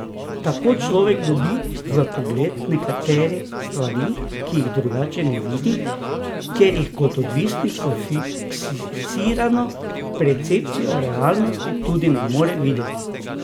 Tako človek dobi vpogled v neke stvari, ki jih drugače ne vidi, ker jih kot odvisnik s fiksirano percepcijo realnosti tudi ne more videti.